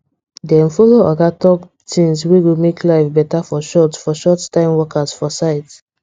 dem follow oga talk thing s wey go make life better for short for short time workers for site